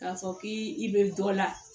K'a fɔ k'i bɛ dɔ la